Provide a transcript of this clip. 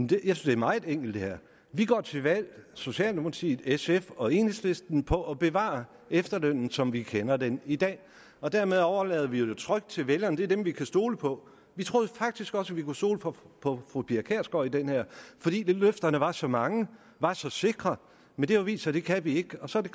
det her er meget enkelt vi går til valg socialdemokratiet sf og enhedslisten på at bevare efterlønnen som vi kender den i dag og dermed overlader vi det jo trygt til vælgerne det er dem vi kan stole på vi troede faktisk også vi kunne stole på på fru pia kjærsgaard i det her fordi løfterne var så mange var så sikre men det har vist sig at det kan vi ikke og så er det